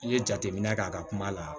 N ye jateminɛ kɛ a ka kuma la